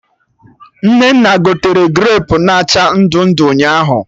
Nnenna gotere grapu na acha ndụ ndụ ụnyaahụ